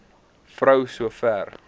vrou so ver